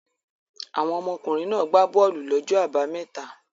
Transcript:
Àwọn ọmọkùnrin náà gbá bọ́ọ́lù lọ́jọ́ àbámẹ́ta?